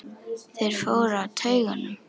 Þeir fóru á taugum.